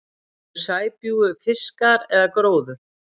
Eru sæbjúgu fiskar eða gróður?